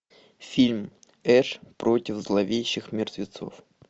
фильм эш против зловещих мертвецов